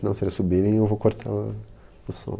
Não se eles subirem eu vou cortar o som.